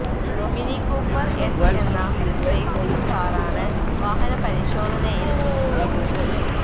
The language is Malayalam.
മിനി കൂപ്പര് എസ് എന്ന റേസിങ് കാറാണ് വാഹന പരിശോധനയില് കുടുങ്ങിയത്